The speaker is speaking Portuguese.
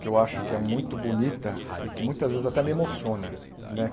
Que eu acho que é muito bonita e que muitas vezes até me emociona, né?